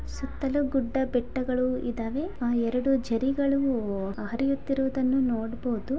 ಸುತ್ತಲೂ ಗುಡ್ಡ ಬೆಟ್ಟಗಳು ಇದಾವೆ ಅಲ್ಲಿ ಎರಡು ಜರಿ ಹರಿಯುವದನ್ನು ನೋಡಬಸಹುದು .